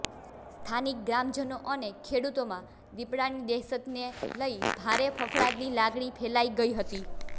સ્થાનિક ગ્રામજનો અને ખેડૂતોમાં દિપડાની દહેશતને લઇ ભારે ફફડાટની લાગણી ફેલાઇ ગઇ હતી